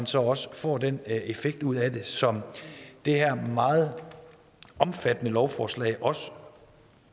så også får den effekt ud af det som det her meget omfattende lovforslag også